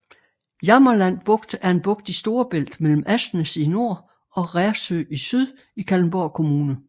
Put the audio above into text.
Jammerland Bugt er en bugt i Storebælt mellem Asnæs i nord og Rersø i syd i Kalundborg Kommune